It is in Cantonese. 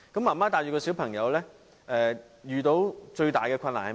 媽媽帶着小朋友遇到最大的困難是甚麼？